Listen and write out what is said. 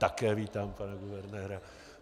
Také vítám pana guvernéra.